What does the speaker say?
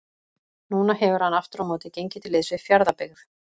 Nú hefur hann aftur á móti gengið til liðs við Fjarðabyggð.